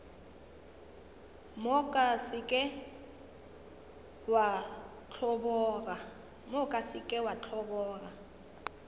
moka se ke wa ntlhoboga